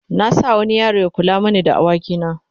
na sa wani yaro Ya kula mani da da awaki na